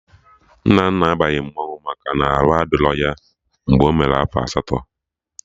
Nnanna abaghị mmanwụ maka na arụ adịrọ ya mgbe ọ mere afọ asatọ